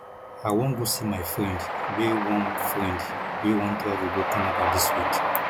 i wan go see my friend wey wan friend wey wan travel go canada dis week